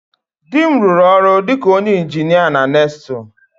Di m rụrụ ọrụ dị ka onye injinia na NESTLE